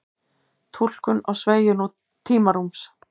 túlkun á sveigju tímarúms